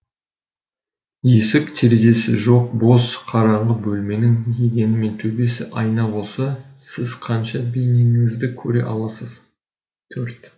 есік терезесі жоқ бос қараңғы бөлменің едені мен төбесі айна болса сіз қанша бейнеңізді көре аласыз төрт